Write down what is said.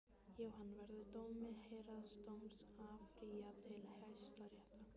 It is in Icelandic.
Jóhann: Verður dómi héraðsdóms áfrýjað til Hæstaréttar?